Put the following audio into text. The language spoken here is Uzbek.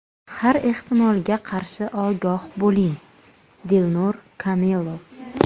Har ehtimolga qarshi ogoh bo‘ling!”, Dilnur Kamilov.